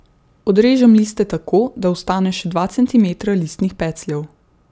Odrežem liste tako, da ostane še dva centimetra listnih pecljev.